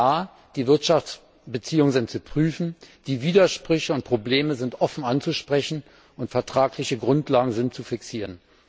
Ja, die Wirtschaftsbeziehungen sind zu prüfen, die Widersprüche und Probleme sind offen anzusprechen, und vertragliche Grundlagen sind zu fixieren.